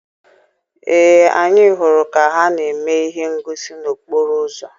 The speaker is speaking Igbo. Ee, anyị hụrụ ka ha na-eme ihe ngosi n'okporo ụzọ.